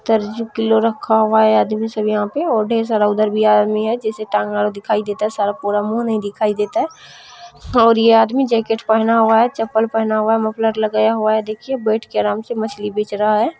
तरजू kilo रखा हुआ है आदमी सब यह पे और ढेर सारा उधर भी आदमी है जिसये टाँगे ओर दिखाई देता है पूरा मुह नही दिखाई देता और ये आदमी जाकेट पहना हुआ है चप्पल पहना हुआ है मफ़लर लगाया हुआ है देखिए बइठ के आराम से मछली बेच रहा है।